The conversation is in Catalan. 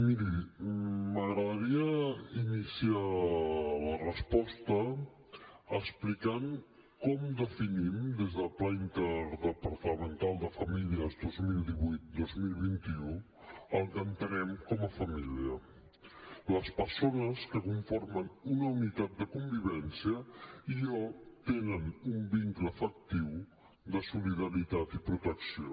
miri m’agradaria iniciar la resposta explicant com definim des del pla interdepartamental de famílies dos mil divuit dos mil vint u el que entenem com a família les persones que conformen una unitat de convivència i o tenen un vincle afectiu de solidaritat i protecció